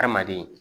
Hadamaden